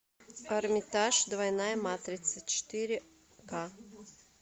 эрмитаж двойная матрица четыре ка